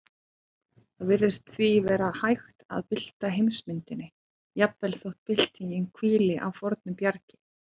Það virðist því vera hægt að bylta heimsmyndinni, jafnvel þótt byltingin hvíli á fornu bjargi.